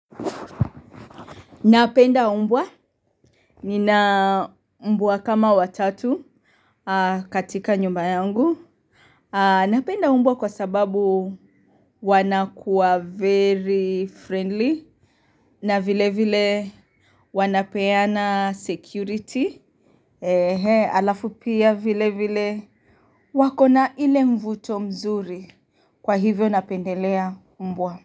Napenda mbwa. Nina mbwa kama watatu katika nyumba yangu. Napenda mbwa kwa sababu wanakuwa very friendly. Na vilevile wanapeana security. Alafu pia vilevile wako na ile mvuto mzuri. Kwa hivyo napendelea umbua.